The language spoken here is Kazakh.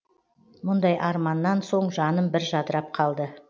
мұндай арманнан соң жаным бір жадырап қалды